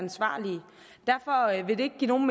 nogle